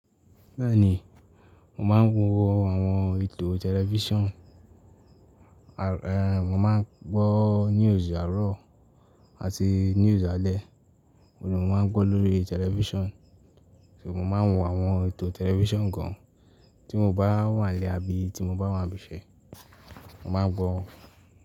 Bẹ́ẹ̀ni, mò máa ń wo àwọn ètò tẹlifísàn, rẹ, mò máa ń gbọ́ news àárọ̀ àti news alẹ́, òun ò máa ń gbọ́ lórí tẹlifísàn. So mò máa ń wo àwọn ètò tẹlifísàn gan tí mo bá wà nilé abí, tí mo bá wà ibi iṣẹ́, mò máa ń gbọ́